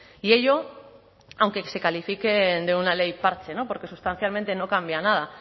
y ello aunque se califique de una ley parche porque sustancialmente no cambia nada